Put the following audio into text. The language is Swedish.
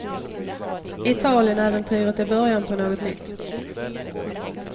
Italienäventyret är början på något nytt.